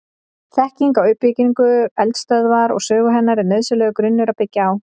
Þekking á uppbyggingu eldstöðvar og sögu hennar er nauðsynlegur grunnur að byggja á.